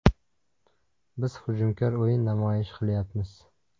Biz hujumkor o‘yin namoyish qilyapmiz.